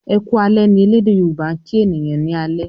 "Eku alè" ní ẹlẹdẹ yoruba' kín ènìyàn ní alé.